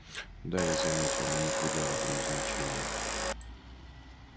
да я заметил но не придал этому значения